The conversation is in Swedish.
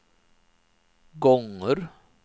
gånger